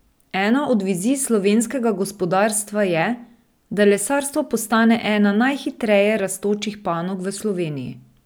Ena od vizij slovenskega gospodarstva je, da lesarstvo postane ena najhitreje rastočih panog v Sloveniji.